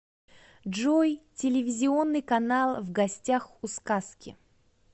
джой телевизионный канал в гостях у сказки